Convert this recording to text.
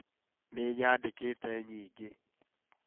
Nĩ nyandĩkĩte nyingĩ